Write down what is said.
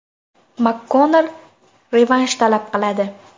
MakKonnor revansh talab qiladi.